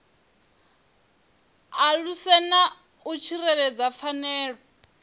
aluse na u tsireledza pfanelo